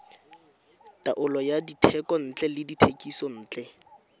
taolo ya dithekontle le dithekisontle